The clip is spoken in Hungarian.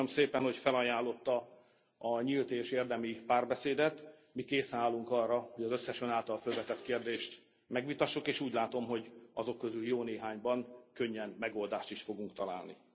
Köszönöm szépen, hogy felajánlotta a nyílt és érdemi párbeszédet, mi készen állunk arra, hogy az összes Ön által fölvetett kérdést megvitassuk, és úgy látom, hogy azok közül jó néhányban könnyen megoldást is fogunk találni.